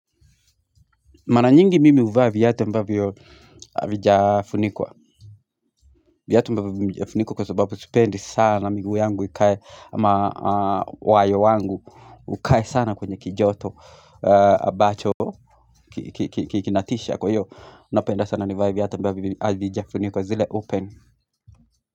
Mara nyingi mimi huvaa viatu ambavyo havijafunikwa Viatu ambavyo vijafunikwa kwa sababu sipendi sana miguu yangu ikae ama wayo wangu ukae sana kwenye kijoto ambacho kinatisha kwa hiyo napenda sana nivae viatu ambavyo havijafunikwa zile open.